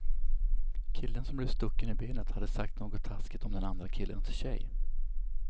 Killen som blev stucken i benet hade sagt något taskigt om den andra killens tjej.